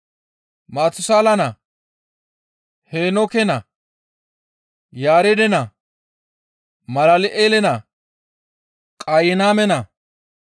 Maatusaala naa, Heenooke naa, Yaareede naa, Malal7eele naa, Qayiname naa,